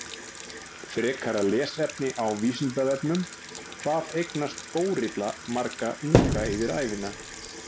Frekara lesefni á Vísindavefnum: Hvað eignast górilla marga unga yfir ævina?